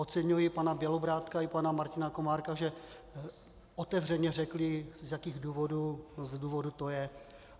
Oceňuji pana Bělobrádka i pana Martina Komárka, že otevřeně řekli, z jakých důvodů to je.